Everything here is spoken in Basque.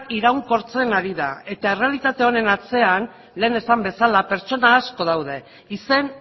iraunkortzen ari da eta errealitate honen atzean lehen esan bezala pertsona asko daude izen